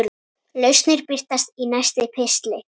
Lausnir birtast í næsta pistli.